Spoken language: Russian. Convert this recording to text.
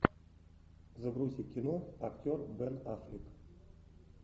загрузи кино актер бен аффлек